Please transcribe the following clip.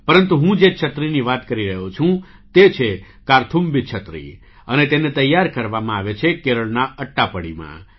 પરંતુ હું જે છત્રીની વાત કરી રહ્યો છું તે છે 'કાર્થુમ્બી છત્રી' અને તેને તૈયાર કરવામાં આવે છે કેરળના અટ્ટાપડીમાં